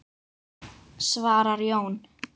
svarar Jón.